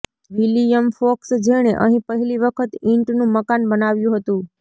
William Fox જેણે અહીં પહેલી વખત ઇંટનું મકાન બનાવ્યું હતું